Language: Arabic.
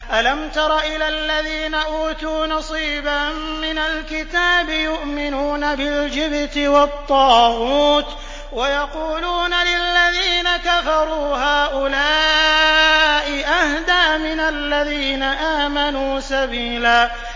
أَلَمْ تَرَ إِلَى الَّذِينَ أُوتُوا نَصِيبًا مِّنَ الْكِتَابِ يُؤْمِنُونَ بِالْجِبْتِ وَالطَّاغُوتِ وَيَقُولُونَ لِلَّذِينَ كَفَرُوا هَٰؤُلَاءِ أَهْدَىٰ مِنَ الَّذِينَ آمَنُوا سَبِيلًا